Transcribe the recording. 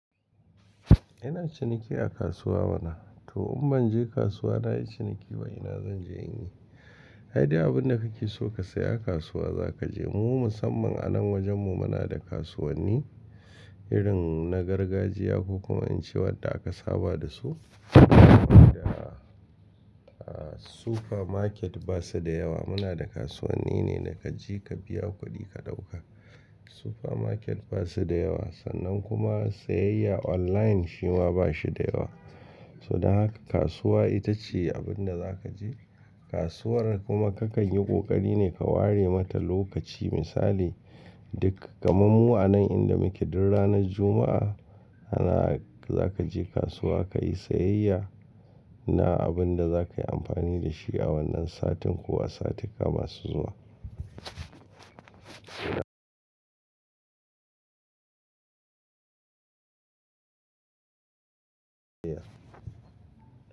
Ina ciniki a kasuwa? To in ban je kasuwa nayi ciniki ba ina zan je in yi? Saida abin da kake so ka saya a kasuwa za ka je. Mu musamman a nan wajenmu muna da kasuwanni irin na gargajiya ko kuma in ce wadda aka saba da su. Saboda a, a supermarket ba su da yawa. Muna da kasuwanni ne da ka je ka biya kuɗi ka ɗauka. Supermarket ba su da yawa, sannan kuma siyayya online shi ma ba shi da yawa. To da haka kasuwa ita ce abin da za ka je. Kasuwar kuma kakan yi ƙoƙari ne ka ware mata lokaci. Misali, duk kamar mu anan inda muke duk rana juma'a za ka je kasuwa ka yi siyayya na abin da za ka yi amfani da shi a wannan satin ko a satika masu zuwa.